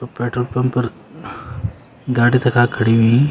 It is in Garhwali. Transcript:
पेट्रोल पंप फर गाडी तखा खड़ी हुई।